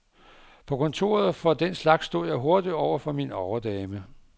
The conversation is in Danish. På kontoret for den slags stod jeg hurtigt over for min overdame.